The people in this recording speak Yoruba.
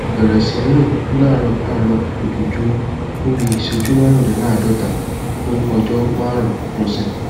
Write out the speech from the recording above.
bẹrẹ sí rìn láàárọ láàárọ lójoojúmọ fún bí i ìṣẹjú márùndínláàádọta fú ọjọ márùnún lọsẹ